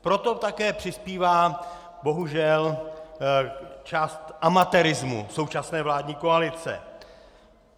Proto také přispívá bohužel část amatérismu současné vládní koalice.